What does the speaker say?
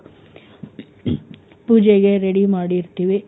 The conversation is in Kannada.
ಪೂಜೆಗೆ ready ಮಾಡಿ ಇಡ್ತೀವಿ.